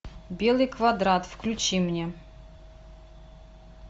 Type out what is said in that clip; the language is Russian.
белый квадрат включи мне